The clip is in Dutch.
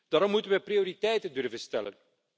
Daarom moeten wij prioriteiten durven stellen.